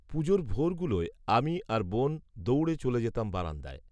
পুজোর ভোরগুলোয়, আমি আর বোন দৌড়ে চলে যেতাম বারান্দায়